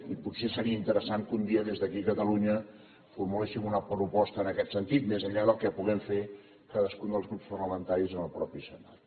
i potser seria interessant que un dia des d’aquí catalunya formuléssim una proposta en aquest sentit més enllà del que puguem fer cadascun dels grups parlamentaris en el mateix senat